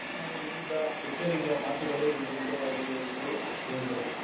ನಾವು ಹೇಳಿದ್ದ ಎಚ್ಚರಿಕೆಯ ಮಾತುಗಳೇ ಇಂದು ನಿಜವಾಗಿವೆ ಎಂದು ಹೇಳಿದರು